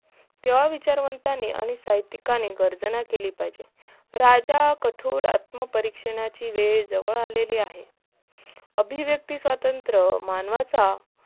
तेव्हा विचारताना आणि साहित्यकानी गर्जना केली पाहिजे राजा कठोर आत्मपरिक्षनाची वेळ जवळ अलेली आहे अभिव्य्क्त स्वत्रंत मानवाचा